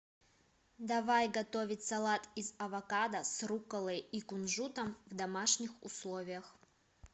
давай готовить салат из авокадо с рукколой и кунжутом в домашних условиях